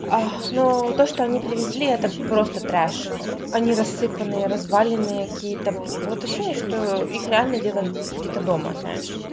но то что они привезли это просто трэш они рассыпанные разваленные какие-то вот ощущение что их реально делали где-то дома знаешь